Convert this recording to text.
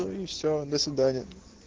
ну и всё до свидания